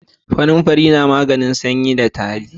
Kanamfari na maganin sanyi da tari